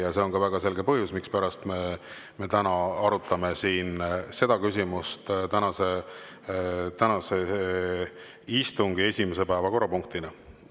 Ja see on ka väga selge põhjus, mispärast me arutame seda küsimust tänase istungi esimese päevakorrapunktina.